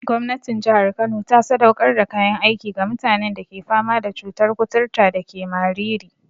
Gwamnatin jihar Kano ta sadaukar da kayan aiki ga mutanen da ke fama da cutar kuturta dake Mariri.